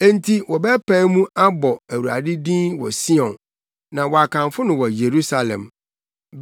Enti wɔbɛpae mu abɔ Awurade din wɔ Sion na wɔakamfo no wɔ Yerusalem,